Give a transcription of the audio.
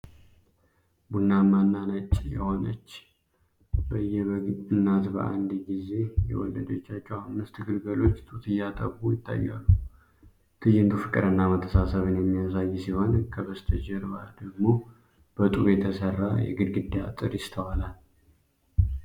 ቡናማና ነጭ የሆነች የበግ እናት በአንድ ጊዜ የወለደቻቸው አምስት ግልገሎች ጡት እያጠቡ ይታያሉ። ትዕይንቱ ፍቅርና መተሳሰብን የሚያሳይ ሲሆን፣ ከበስተጀርባው ደግሞ በጡብ የተሰራ የግድግዳ አጥር ይስተዋላል።